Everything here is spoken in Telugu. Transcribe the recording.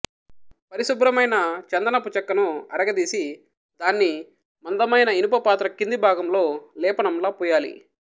పరిశుభ్రమైన చందనపు చెక్కను అరగదీసి దాన్ని మందమైన ఇనుపపాత్ర కింది భాగంలో లేపనంలా పూయాలి